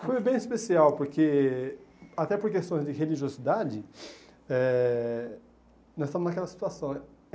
Foi bem especial porque, até por questões de religiosidade, eh nós estávamos naquela situação.